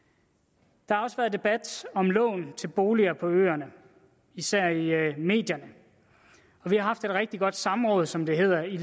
der har også været debat om lån til boliger på øerne især i medierne vi har haft et rigtig godt samråd som det hedder i